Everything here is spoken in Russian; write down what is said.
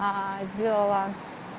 сделала